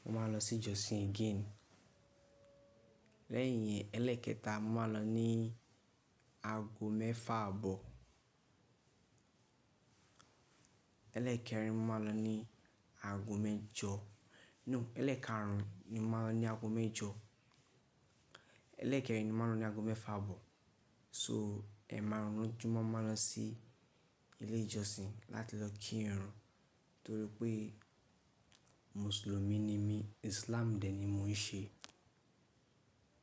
mo máa lọ sí ìjọsìn again. Lẹ́yìn yẹn, ẹlẹ́ẹ̀kẹta, mo máa lọ ní aago mẹ́fà àbọ̀. Ẹlẹ́ẹ̀kẹrin, mo máa lọ ní aago mẹ́jọ. No, ẹlẹ́ẹ̀karùn ún ni mo máa lọ ní aago mẹ́jọ. Ẹlẹ́ẹ̀kẹrin ni mo máa lọ ní aago mẹ́fà àbọ̀. So ẹ̀ẹ̀márùn ún lójú mo máa ń lọ sí ilé ìjọsìn láti lọ kírun torí pé mùsùlùmí ni mí. Islam dẹ̀ ni mò ń ṣe.